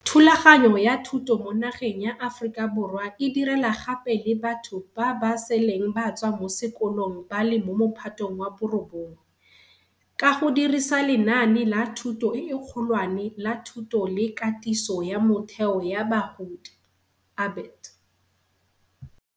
Thulaganyo ya thuto mo nageng ya Aforika Borwa e direla gape le batho ba ba seleng ba tswa mo sekolong ba le mo Mophatong wa bo 9, ka go dirisa lenaane la Thuto e Kgolwane la Thuto le Katiso ya Motheo ya Bagodi, ABET.